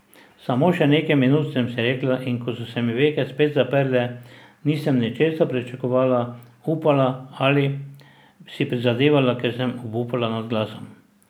Samo še nekaj minut, sem si rekla, in ko so se mi veke spet zaprle, nisem ničesar pričakovala, upala ali si prizadevala, ker sem obupala nad glasom.